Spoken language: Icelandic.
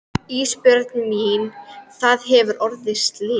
Ísbjörg mín það hefur orðið slys.